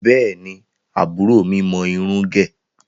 Bẹ́ẹ̀ni, àbúrò mi mọ irun ń gẹ̀.